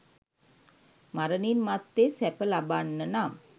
මරණින් මත්තේ සැප ලබන්නනම්